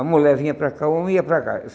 A mulher vinha para cá e o homem ia para cá.